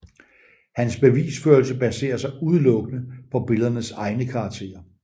Hans bevisførelse baserer sig udelukkende på billedernes egne karakterer